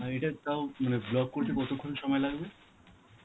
আর এটা তাও মানে block করতে কতক্ষণ সময় লাগবে?